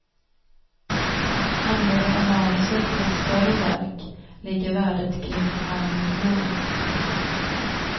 Handlar det om manuset till ett större verk, ligger värdet kring en halv miljon.